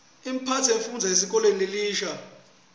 imphatfo yemfufndzi esikolweni lesisha